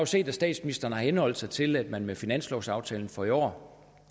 set at statsministeren har henholdt sig til at man med finanslovsaftalen for i år